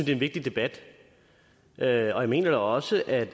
en vigtig debat og jeg mener også at